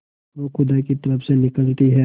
वह खुदा की तरफ से निकलती है